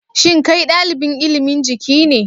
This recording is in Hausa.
Shin kai dalibin ilimin Jiki ne